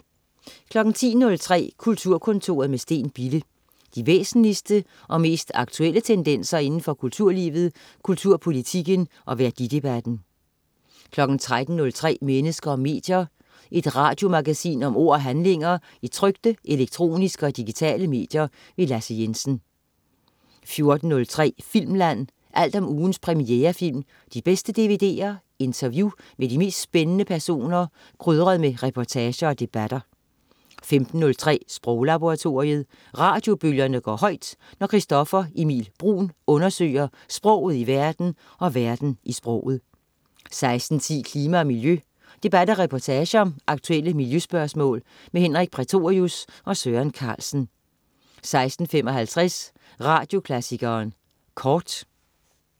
10.03 Kulturkontoret med Steen Bille. De væsentligste og mest aktuelle tendenser inden for kulturlivet, kulturpolitikken og værdidebatten 13.03 Mennesker og medier. Et radiomagasin om ord og handlinger i trykte, elektroniske og digitale medier. Lasse Jensen 14.03 Filmland. Alt om ugens premierefilm, de bedste dvd'er, interview med de mest spændende personer, krydret med reportager og debatter 15.03 Sproglaboratoriet. Radiobølgerne går højt, når Christoffer Emil Bruun undersøger sproget i verden og verden i sproget 16.10 Klima og miljø. Debat og reportage om aktuelle miljøspørgsmål. Henrik Prætorius og Søren Carlsen 16.55 Radioklassikeren Kort